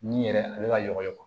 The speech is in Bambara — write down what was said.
Ni yɛrɛ a bɛ ka ɲɔgɔn ye